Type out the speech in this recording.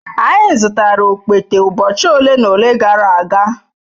Anyị zụtara okpete ụbọchị ole na ole gara aga.